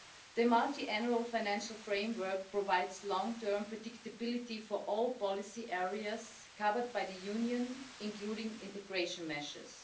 The Multiannual Financial Framework provides long-term predictability for all policy areas covered by the Union, including integration measures.